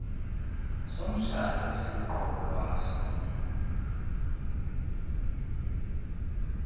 somtshato esiluqobo lwaso